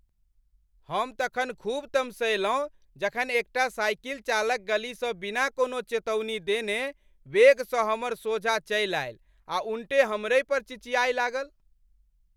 हम तखन खूब तमसयलहुँ जखन एकटा साइकिल चालक गलीसँ बिना कोनो चेतौनी देने वेगसँ हमर सोझाँ चलि आयल आ उनटे हमरहिपर चिचिआय लागल।